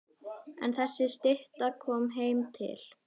En þessi stytta kom heim til